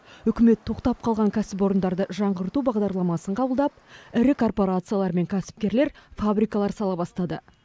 үкімет тоқтап қалған кәсіпорындарды жаңғырту бағдарламасын қабылдап ірі корпорациялар мен кәсіпкерлер фабрикалар сала бастады